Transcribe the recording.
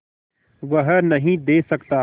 वह नदीं दे सकता